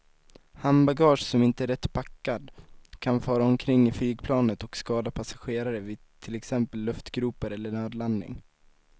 Handbagage som inte är rätt packat kan fara omkring i flygplanet och skada passagerare vid till exempel luftgropar eller nödlandning.